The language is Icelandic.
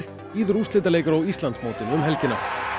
bíður úrslitaleikur á Íslandsmótinu um helgina